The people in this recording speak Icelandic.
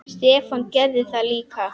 Stefán gerði það líka.